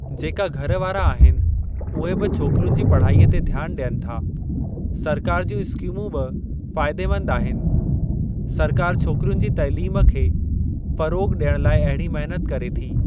जेका घर वारा आहिनि उहे बि छोकिरियुनि जी पढ़ाईअ ते ध्यानु ॾियनि था। सरकार जूं स्किमूं बि फ़ाइदेमंद आहिनि। सरकार छोकिरियुनि जी तइलीम खे फ़रोग़ डि॒यणु लाइ अहिड़ी महिनत करे थी।